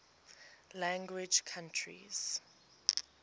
language countries